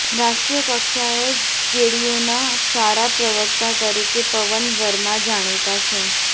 રાષ્ટ્રીય કક્ષાએ જેડીયુના સારા પ્રવક્તા તરીકે પવન વર્મા જાણીતા છે